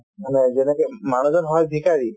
মানে যেনেকে মানুহজন হয় ভিখাৰী